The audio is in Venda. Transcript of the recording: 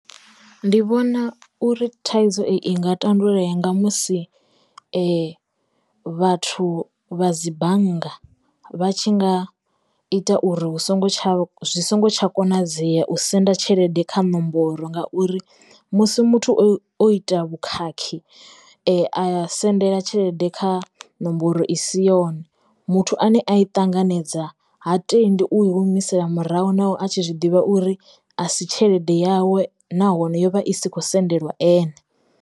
Ndi vhona uri thaidzo i nga tandululea nga musi vhathu vha dzi bannga vha tshi nga ita uri hu songo tsha zwi songo tsha konadzea u senda tshelede kha nomboro ngauri musi muthu o o ita vhukhakhi a ya sendela tshelede kha nomboro i si yone muthu ane a i ṱanganedza ha tendi u i humisele murahu, naho a tshi zwiḓivha uri asi tshelede yawe na hone yovha i sikhou sendeliwa ene.